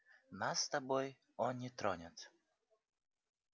нас с тобой он не тронет